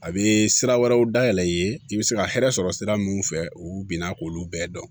A bɛ sira wɛrɛw dayɛlɛ i ye i bɛ se ka hɛrɛ sɔrɔ sira minnu fɛ u bɛna k'olu bɛɛ dɔn